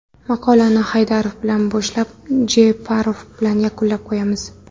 Maqolani Haydarov bilan boshlab, Jeparov bilan yakunlab qo‘yamiz.